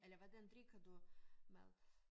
Eller hvordan drikker du med